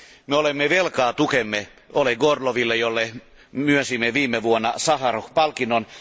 Me olemme velkaa tukemme Oleg Orloville, jolle myönsimme viime vuonna Saharov palkinnon.